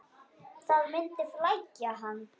Það myndi flækja hann.